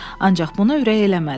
Ancaq buna ürək eləmədi.